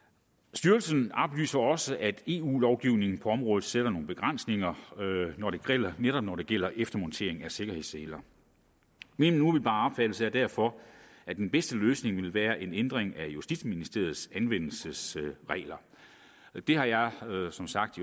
styrelsen oplyser også at eu lovgivningen på området sætter nogle begrænsninger netop når det gælder eftermontering af sikkerhedsseler min umiddelbare opfattelse er derfor at den bedste løsning ville være en ændring af justitsministeriets anvendelsesregler det har jeg som sagt